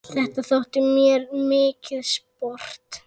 Þetta þótti mér mikið sport.